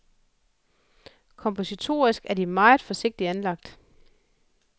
Kompositorisk er de meget forsigtigt anlagt.